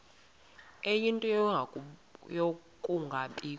ie nto yokungabikho